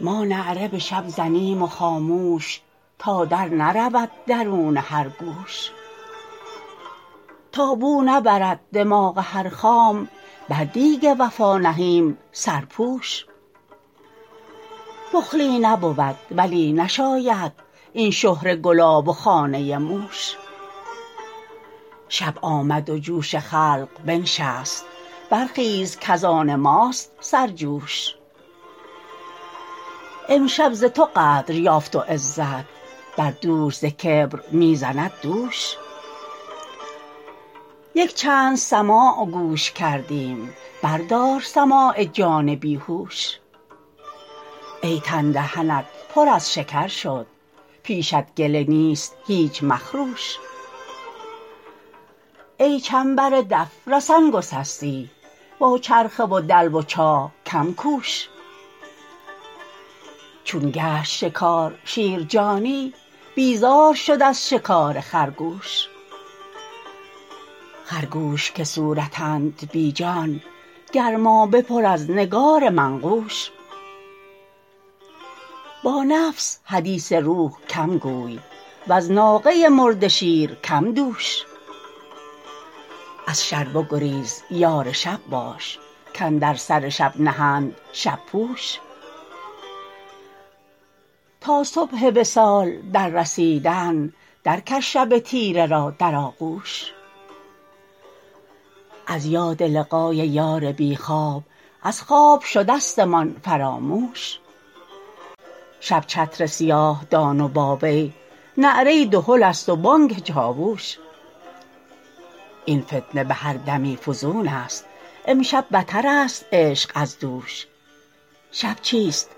ما نعره به شب زنیم و خاموش تا درنرود درون هر گوش تا بو نبرد دماغ هر خام بر دیگ وفا نهیم سرپوش بخلی نبود ولی نشاید این شهره گلاب و خانه موش شب آمد و جوش خلق بنشست برخیز کز آن ماست سرجوش امشب ز تو قدر یافت و عزت بر دوش ز کبر می زند دوش یک چند سماع گوش کردیم بردار سماع جان بی هوش ای تن دهنت پر از شکر شد پیشت گله نیست هیچ مخروش ای چنبر دف رسن گسستی با چرخه و دلو و چاه کم کوش چون گشت شکار شیر جانی بیزار شد از شکار خرگوش خرگوش که صورتند بی جان گرمابه پر از نگار منقوش با نفس حدیث روح کم گوی وز ناقه مرده شیر کم دوش از شر بگریز یار شب باش کاندر سر شب نهند شب پوش تا صبح وصال دررسیدن درکش شب تیره را در آغوش از یاد لقای یار بی خواب از خواب شدستمان فراموش شب چتر سیاه دان و با وی نعره دهلست و بانک چاووش این فتنه به هر دمی فزونست امشب بترست عشق از دوش شب چیست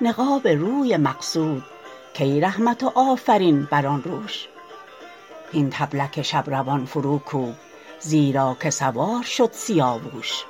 نقاب روی مقصود کای رحمت و آفرین بر آن روش هین طبلک شب روان فروکوب زیرا که سوار شد سیاووش